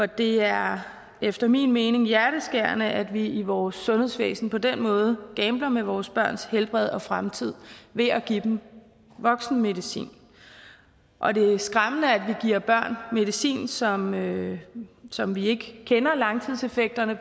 det er efter min mening hjerteskærende at vi i vores sundhedsvæsen på den måde gambler med vores børns helbred og fremtid ved at give dem voksenmedicin og det er skræmmende at vi giver børn medicin som som vi ikke kender langtidseffekterne